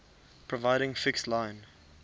providing fixed line